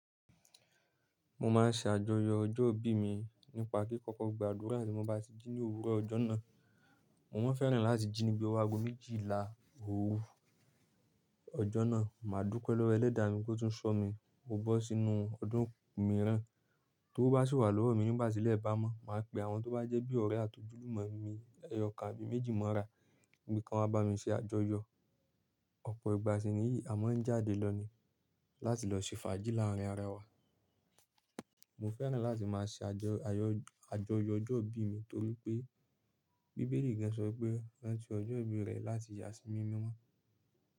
Mo máa ń ṣe àjọyọ̀ ọjọ́ ìbí mi nípa kí kọ̀kọ̀ gba àdúrà tí mo bá ti jí ní òwúrọ̀ ọjọ́ náà. Mo máa ń fẹ́ràn láti jí ní bí ọwọ́ aago méjìlá òru ọjọ́ náà. Màá dúpẹ́ lọ́wọ́ ẹlẹ́dàá mi pó tún ṣọ́ mi, mo bọ́ sínú ọdún mìíràn. Tówó bá sì wà lọ́wọ́ mi nígbà tílẹ̀ bá mọ́, màá pe àwọn tó bá jẹ́ bí ọ̀rẹ́ àti ojúlùmọ̀ mi, ẹyọkan àbí méjì mọ́ra, pé kán wá bá mi ṣe àjọyọ̀. Ọ̀pọ̀ ìgbà sí nìyí, a máa ń jáde lọ ni láti lọ ṣe fàájì láàárín ara wa. Mo fẹ́ràn láti máa ṣe àjọ, àyọ̀, àjọyọ̀ ọjọ́ ìbí mi torí pé bíbélì gan-an sọ pé "Rántí ọjọ́ ìbí rẹ láti yàá sí mímọ́."